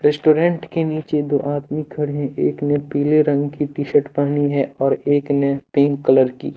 Restaurant के नीचे दो आदमी खड़े है। एक ने पीले रंग की टी-शर्ट पहनी है। और एक ने पिंक कलर की--